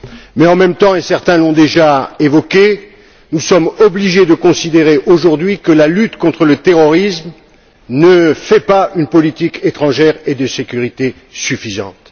Mais en même temps, et certains l'ont déjà évoqué, nous sommes obligés de considérer aujourd'hui que la lutte contre le terrorisme ne fait pas une politique étrangère et de sécurité suffisante.